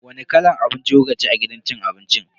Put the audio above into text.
Wani kalan abinci kukaci a gidan cin abincin?